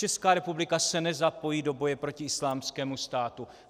Česká republika se nezapojí do boje proti Islámskému státu."